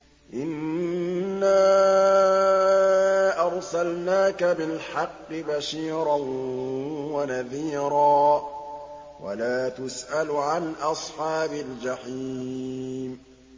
إِنَّا أَرْسَلْنَاكَ بِالْحَقِّ بَشِيرًا وَنَذِيرًا ۖ وَلَا تُسْأَلُ عَنْ أَصْحَابِ الْجَحِيمِ